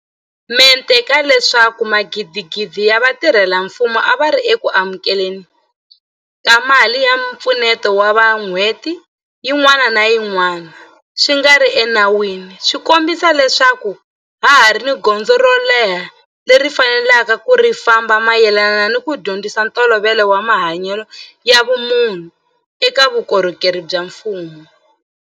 Mente ka leswaku magidigidi ya vatirhela mfumo a va ri eku amukele ni ka mali ya mpfuneto wa vanhu n'hweti yin'wana ni yin'wana swi nga ri enawini swi kombisa leswaku ha ha ri ni gondzo ro leha leri hi faneleke ku ri famba mayelana ni ku dyondzisa ntolovelo wa mahanyelo ya vumunhu eka vukorhokeri bya mfumo.